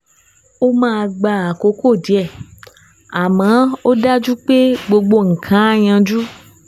Ó máa gba àkókò díẹ̀, àmọ́ ó dájú pé gbogbo nǹkan á yanjú